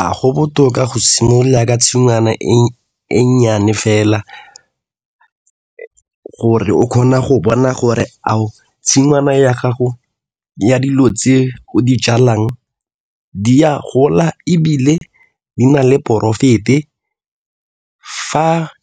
A go botoka go simolola tshingwana e nnyane fela gore o kgona go bona gore a o tshingwana ya gago ya dilo tse e go di jalang di a gola ebile di na le profit-e